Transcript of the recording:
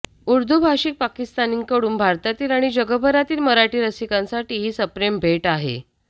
उर्दू भाषिक पाकिस्तानींकडून भारतातील आणि जगभरातील मराठी रसिकांसाठी ही सप्रेम भेट आहे आहे